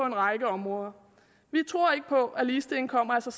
en række områder vi tror ikke på at ligestilling kommer af sig